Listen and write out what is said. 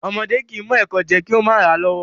Ọmọdé kìí mọ ẹkò jẹ kí ó mà ràa lọ́wọ́